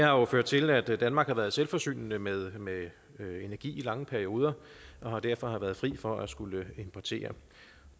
jo ført til at danmark har været selvforsynende med med energi i lange perioder og derfor har været fri for at skulle importere